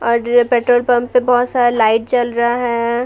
और petrol pump पे बहुत सारा लाइट जल रहा है।